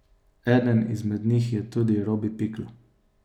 Eden izmed njih je tudi Robi Pikl.